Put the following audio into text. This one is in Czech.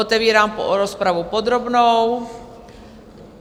Otevírám rozpravu podrobnou.